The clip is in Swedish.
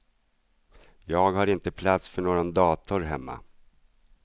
Jag har inte plats för någon dator hemma.